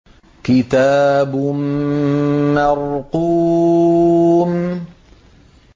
كِتَابٌ مَّرْقُومٌ